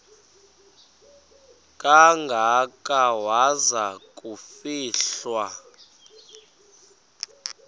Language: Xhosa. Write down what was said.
kangaka waza kufihlwa